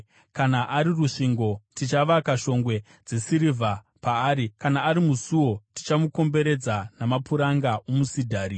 Kana ari rusvingo, tichavaka shongwe dzesirivha paari. Kana ari musuo, tichamukomberedza namapuranga omusidhari.